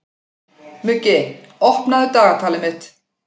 Muggi, opnaðu dagatalið mitt.